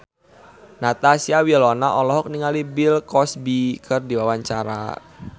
Natasha Wilona olohok ningali Bill Cosby keur diwawancara